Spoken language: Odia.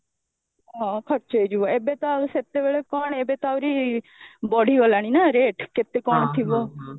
ହଁ ଖର୍ଚ ହେଇଯିବ ଏବେ ତ ଆଉ ସେତେବେଳେ କଣ ଏବେ ତ ଆହୁରି ବଢିଗଲାଣି ନା rate କେତେ କଣ ଥିବ